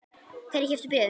Hverjir keyptu bréfin?